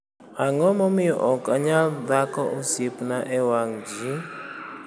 ? 'Ang'o Momiyo Ok Anyal Dhako Osiepna e Wang' Ji? â€TM